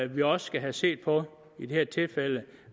vi også skal se på i det her tilfælde